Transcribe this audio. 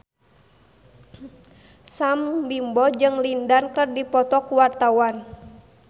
Sam Bimbo jeung Lin Dan keur dipoto ku wartawan